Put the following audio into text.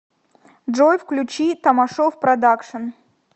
джой включи тамашов продакшен